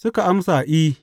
Suka amsa, I.